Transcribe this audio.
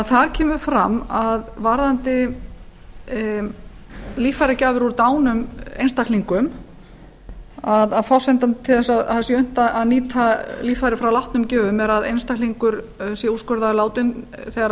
þar kemur fram að varðandi líffæragjafir úr hinum einstaklingum til þess að það sé unnt að nýta líffæri frá látnu gjöfum er að einstaklingur sé úrskurðaður látinn þegar